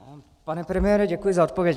Pane premiére, děkuji za odpověď.